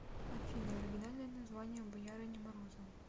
афина оригинальное название боярыня морозова